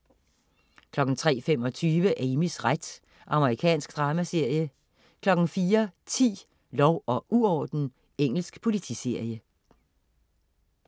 03.25 Amys ret. Amerikansk dramaserie 04.10 Lov og uorden. Engelsk politiserie